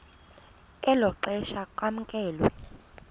elo xesha kwamkelwe